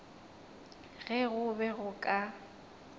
ge go be go ka